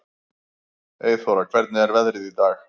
Eyþóra, hvernig er veðrið í dag?